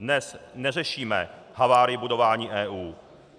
Dnes neřešíme havárii budování EU.